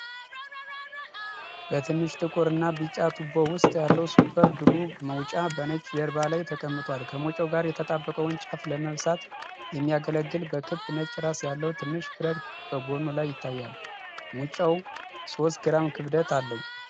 በትንሽ ጥቁር እና ቢጫ ቱቦ ውስጥ ያለው ሱፐር ግሉ ሙጫ በነጭ ጀርባ ላይ ተቀምጧል። ከሙጫው ጋር የተጣበቀውን ጫፍ ለመበሳት የሚያገለግል በክብ ነጭ ራስ ያለው ትንሽ ብረት በጎኑ ላይ ይታያል። ሙጫው ሦስት ግራም ክብደት አለው።